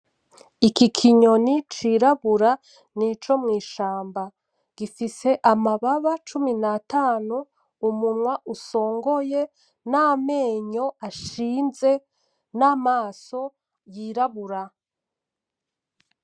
Iki kinyoni cirabura nico mw,ishamba gifise amababa cumi natanu umunwa usongoye namenyo ashinze namaso yirabura.